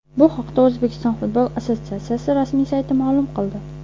Bu haqda O‘zbekiston futbol assotsiatsiyasi rasmiy sayti ma’lum qildi .